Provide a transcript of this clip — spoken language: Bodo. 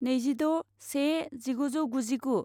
नैजिद' से जिगुजौ गुजिगु